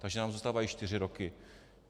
Takže nám zůstávají čtyři roky.